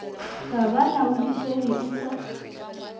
ga di laodišege e sa